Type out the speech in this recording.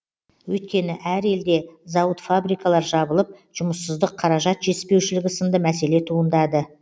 өйткені әр елде зауыт фабрикалар жабылып жұмыссыздық қаражат жетіспеушілігі сынды мәселе туындады